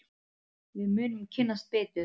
Við munum kynnast betur.